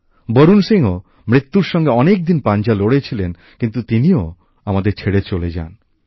বরুণ সিংও মৃত্যুর সঙ্গে অনেকদিন পাঞ্জা লড়েছিলেন কিন্তু তিনিও আমাদের ছেড়ে চলে যান